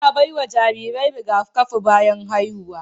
Ana ba wa jarirai rigakafi bayan haihuwa.